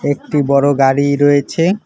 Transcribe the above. একটি বড়ো গাড়ি রয়েছে।